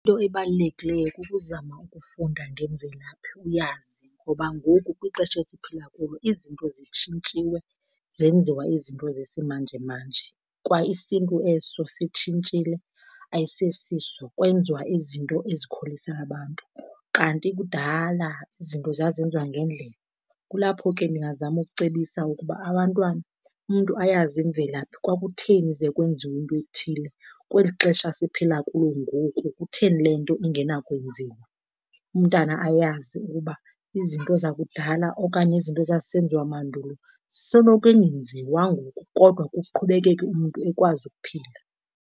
Into ebalulekileyo kukuzama ukufunda ngemvelaphi uyazi, ngoba ngoku kwixesha esiphila kulo izinto zitshintshiwe zenziwa izinto zesimanjemanje. Kwa isiNtu eso sitshintshile ayisesiso, kwenziwa izinto ezikholisa abantu, kanti kudala izinto zazenziwa ngendlela. Kulapho ke ndingazama kucebisa ukuba abantwana umntu ayazi imvelaphi, kwakutheni ze kwenziwe into ethile, kweli xesha siphila kulo ngoku kutheni le nto ingenakwenziwa. Umntana ayazi ukuba izinto zakudala okanye izinto ezazisenziwa mandulo zisenokungenziwa ngoku, kodwa kuqhubekeke umntu ekwazi ukuphila.